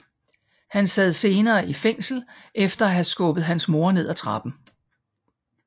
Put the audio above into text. Han sad senere i fængsel efter at have skubbet hans mor ned ad trappen